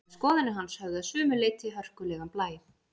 En skoðanir hans höfðu að sumu leyti hörkulegan blæ.